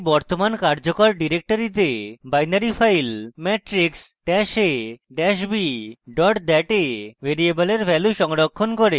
এটি বর্তমান কার্যকর ডিরেক্টরিতে binary file matrix dash a dash b dot dat matrixab dat a ভ্যারিয়েবলের ভ্যালু সংরক্ষণ করে